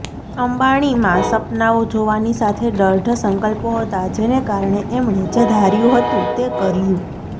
અંબાણીમાં સપનાંઓ જોવાની સાથે દૃઢ સંકલ્પો હતા જેને કારણે એમણે જે ધાર્યું હતું તે કર્યું